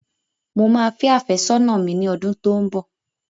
Mo máa fẹ àfẹ́sọ̀na mi ní odún tó ní bó.